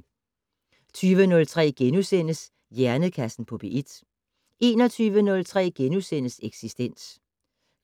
20:03: Hjernekassen på P1 * 21:03: Eksistens